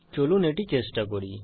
চলুন এটি চেষ্টা করি